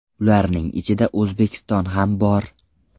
Ularning ichida O‘zbekiston ham bor.